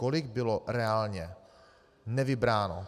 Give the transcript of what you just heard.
Kolik bylo reálně nevybráno?